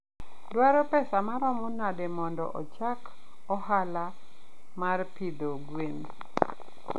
Dwaro pesa maromo nade mondo achak ohala mar pidho gwen?